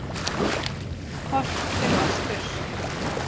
Horft til vesturs.